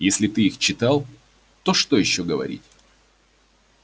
если ты читал их то что ещё говорить